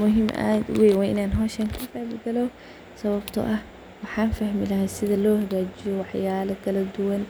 Muhim ad uweyn way in an howshan kaqeb galo, sababto ah waxan fahmi lahaa sida lohagajiyo waxyala kaladuwan